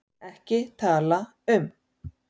EKKI TALA UM